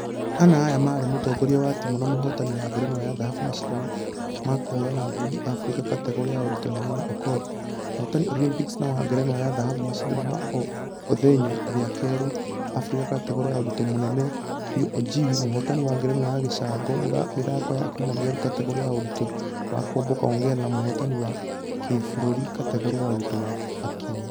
Ana aya marĩ mũtongoria wa timũ na mũhotani wa *ngerenwa ya dhahabu mashidano ma kũhũrana ngundi africa kategore ya ũritũ mũnini okoth. Mũglhotani olympics na wa ngerenwa ya dhahabu mashidano ma othenya rĩa kerĩ africa kategore ya ũritŭ mũnene biũ ajowi , mũhotani wa ngerenwa ya gĩcango Mĩthako ya commonwealth kategore ya ũritũ wa kuomboka ongare na mũhotani wa kĩbũrũri kategore ya ũritũ wa .......akinyi.